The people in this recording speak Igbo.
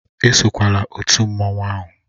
Esokwala otu mmanwụ ahụ!